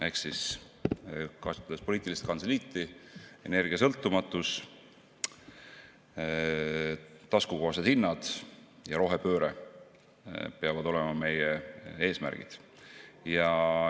Ehk siis kasutades poliitilist kantseliiti: energiasõltumatus, taskukohased hinnad ja rohepööre peavad olema meie eesmärgid.